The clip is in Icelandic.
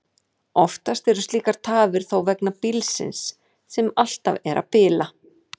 Oftar eru slíkar tafir þó vegna bílsins, sem alltaf er að bila.